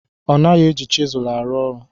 Ọ naghị eji chisel arụ ọrụ.